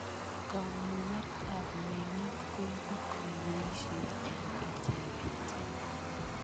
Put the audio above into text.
Kamuet ap meng'ik koipu kaiweisyet eng' icheket.